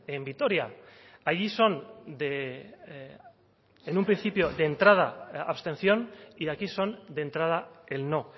en vitoria allí son en un principio de entrada abstención y aquí son de entrada el no